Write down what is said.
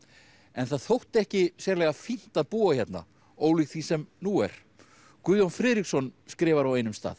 en það þótti ekki sérlega fínt að búa hérna ólíkt því sem nú er Guðjón Friðriksson skrifar á einum stað